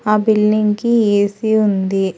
ఆ బిల్డింగ్ కి A C ఉంది.